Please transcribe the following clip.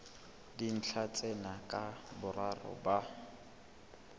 dintlha tsena ka boraro ba